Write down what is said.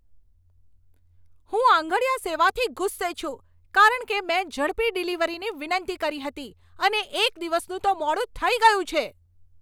હું આંગડિયા સેવાથી ગુસ્સે છું. કારણ કે મેં ઝડપી ડિલિવરીની વિનંતી કરી હતી, અને એક દિવસનું તો મોડું થઈ ગયું છે!